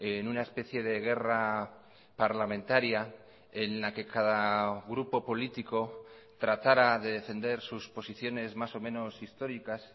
en una especie de guerra parlamentaria en la que cada grupo político tratara de defender sus posiciones más o menos históricas